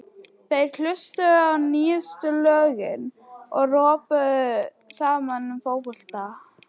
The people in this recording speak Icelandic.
Þeir hlustuðu á nýjustu lögin og röbbuðu saman um fótbolta.